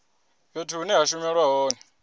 fhethu hune ha shumelwa hone